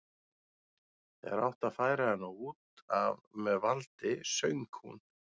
Þegar átti að færa hana út af með valdi söng hún